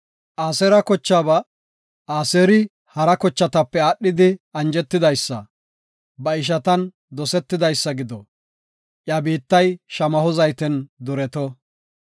Aseera kochaaba, “Aseeri hara kochatape aadhidi anjetidaysa; ba ishatan dosetidaysa gido; iya biittay shamaho zayten dureto.